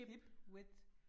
Hip width